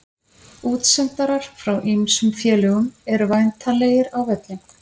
Útsendarar frá ýmsum félögum eru væntanlegir á völlinn.